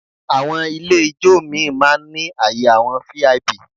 Àwọn ilé ijó míì máa ń ní àyè àwọn VIP